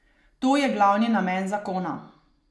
To je glavni namen zakona.